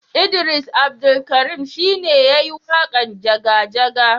Idris Abdulkarim shi ne ya yi waƙan jaga jaga